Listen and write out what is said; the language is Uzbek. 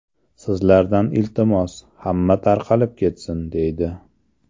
Sizlardan iltimos, hamma tarqalib ketsin”, deydi.